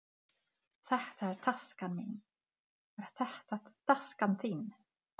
Hér er handklæðið mitt. Hvar er handklæðið þitt?